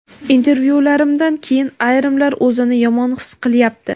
"Intervyularimdan keyin ayrimlar o‘zini yomon his qilyapti".